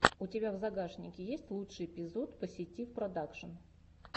у тебя в загашнике есть лучший эпизод поситив продакшн